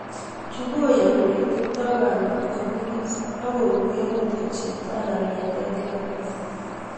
Chu koyani oletepto kamet ko nyigis ak kokuiyo ngokto chepto anan ng'etet lakwet.